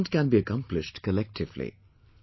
This movement can be accomplished collectively